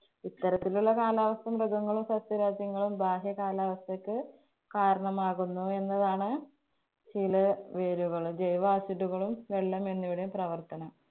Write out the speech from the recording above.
ഇത്തരത്തിലുള്ള കാലാവസ്ഥ മൃഗങ്ങളും, സസ്യവർഗ്ഗങ്ങളും ബാഹ്യ കാലാവസ്ഥയ്ക്ക് കാരണമാകുന്നു എന്നതാണ് ചില acid കളും വെള്ളം എന്നിവയുടെയും പ്രവര്‍ത്തനം.